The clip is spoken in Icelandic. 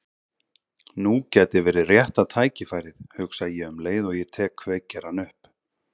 Nú gæti verið rétta tækifærið, hugsa ég um leið og ég tek kveikjarann upp.